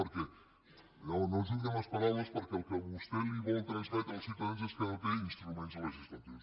bé no jugui amb les paraules perquè el que vostè vol transmetre als ciutadans és que no té instruments legislatius